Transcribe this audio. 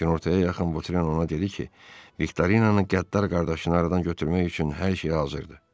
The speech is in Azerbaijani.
Kinoortaya yaxın Votren ona dedi ki, Viktorinanın qəddar qardaşını aradan götürmək üçün hər şey hazırdır.